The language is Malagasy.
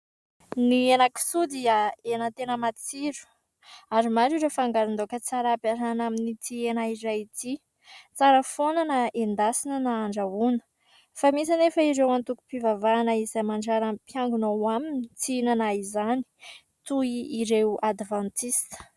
Ny henan-kisoa dia hena tena matsiro ary maro ny fangaron-daoka tsara ampiarahana amin'itỳ hena iray itỳ. Tsara foana na endasina na andrahoina. Fa misy anefa ireo antokom-pivavahana izay mandrara ny mpiangona ao aminy tsy hinana izany, toy ireo advantista.